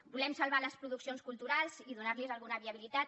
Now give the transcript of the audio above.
volem salvar les produccions culturals i donar los alguna viabilitat